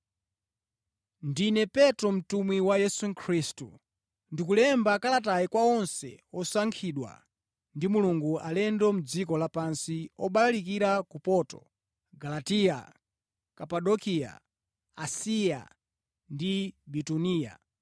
Ndine Petro, mtumwi wa Yesu Khristu. Ndikulemba kalatayi kwa onse osankhidwa ndi Mulungu, alendo mʼdziko lapansi, obalalikira ku Ponto, Galatiya, Kapadokiya, Asiya ndi Bituniya.